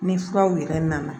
Ni furaw yɛrɛ nana